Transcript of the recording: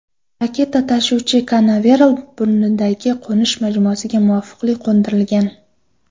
Raketa-tashuvchi Kanaveral burnidagi qo‘nish majmuasiga muvaffaqiyatli qo‘ndirilgan.